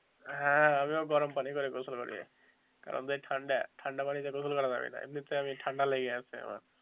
হ্যাঁ আমিও গরম পানি করে গোসল করি কারন যে ঠান্ডা ঠান্ডা পানিতে গোসল করা যাবে না এমনিতে আমি ঠান্ডা লেগে গেছে আমার,